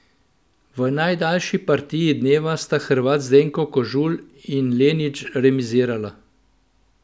V najdaljši partiji dneva sta Hrvat Zdenko Kožul in Lenič remizirala.